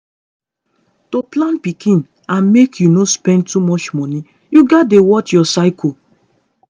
to plan pikin and make you no spend too much money you gats dey watch your cycle.